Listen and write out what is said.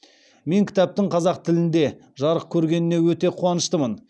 мен кітаптың қазақ тілінде жарық көргеніне өте қуаныштымын